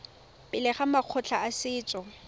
pele ga makgotla a setso